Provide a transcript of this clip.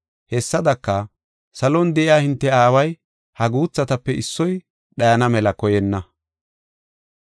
Hessadaka, salon de7iya hinte aaway ha guuthatape issoy dhayana mela koyenna.